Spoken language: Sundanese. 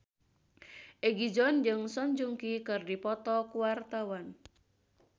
Egi John jeung Song Joong Ki keur dipoto ku wartawan